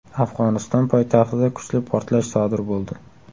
Afg‘oniston poytaxtida kuchli portlash sodir bo‘ldi.